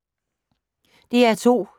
DR2